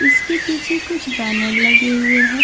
इसके पीछे कुछ बैनर लगे हुए हैं।